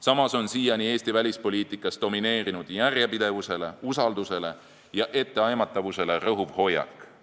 Samas on Eesti välispoliitikas siiani domineerinud järjepidevusele, usaldusele ja etteaimatavusele rõhuv hoiak.